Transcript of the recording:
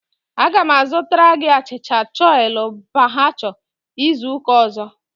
Aga m azụtara gị achịcha chole bhature izu ụka ọzọ.